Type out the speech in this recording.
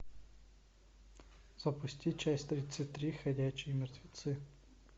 запусти часть тридцать три ходячие мертвецы